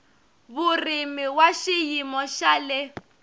vurimi wa xiyimo xa le